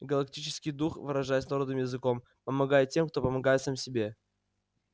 галактический дух выражаясь народным языком помогает тем кто помогает сам себе